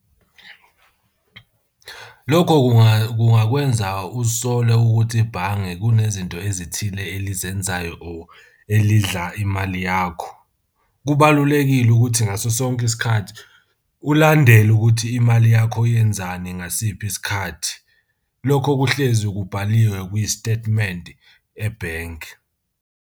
Lokho kungakwenza uzisole ukuthi ibhange kunezinto ezithile elizenzayo or elidla imali yakho. Kubalulekile ukuthi ngaso sonke isikhathi, ulandele ukuthi imali yakho yenzani ngasiphi isikhathi. Lokho kuhlezi kubhaliwe ku-statement ebhenki.